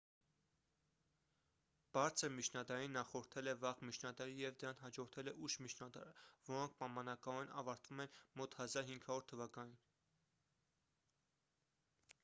բարձր միջնադարին նախորդել է վաղ միջնադարը և դրան հաջորդել է ուշ միջնադարը որոնք պայմանականորեն ավարտվում են մոտ 1500 թվականին